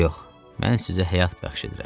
Yox, mən sizə həyat bəxş edirəm.